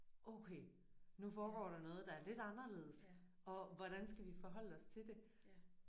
Okay nu foregår der noget der er lidt anderledes og hvordan skal vi forholde os til det